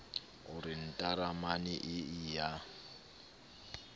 o re ntaramane ee ya